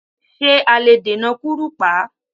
Ṣé a lè dènà kúrùpá?